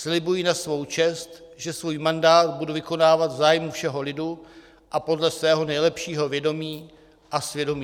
Slibuji na svou čest, že svůj mandát budu vykonávat v zájmu všeho lidu a podle svého nejlepšího vědomí a svědomí."